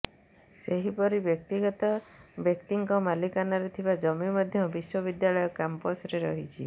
ସେହିପରି ବ୍ୟକ୍ତିଗତ ବ୍ୟାକ୍ତିଙ୍କ ମାଲିକାନାରେ ଥିବା ଜମି ମଧ୍ୟ ବିଶ୍ୱବିଦ୍ୟାଳୟ କ୍ୟାମ୍ପସ ରେ ରହିଛି